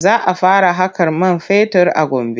Za a fara haƙar man fetur a Gombe.